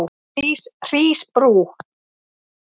Hrísbrú